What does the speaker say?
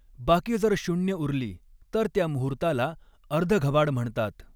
बाकी जर शून्य उरली तर त्या मुहूर्ताला अर्धघबाड म्हणतात.